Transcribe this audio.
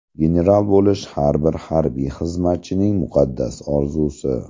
General bo‘lish har bir harbiy xizmatchining muqaddas orzusi.